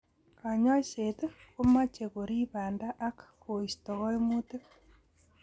Kanyoiset komeche korib banda ak koisto kaimutik.